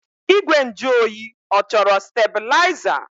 Igwe nju oyi ọ chọrọ steblaịza?